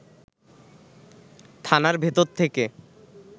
থানার ভেতর থেকে